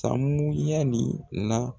Samuyali la